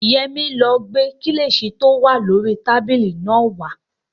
Yẹmí ló gbé kílìṣí tí ó wà lórii tábìlì náà wá